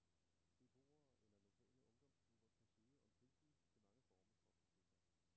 Beboere eller lokale ungdomsklubber kan søge om tilskud til mange former for projekter.